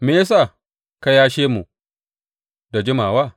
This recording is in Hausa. Me ya sa ka yashe mu da jimawa?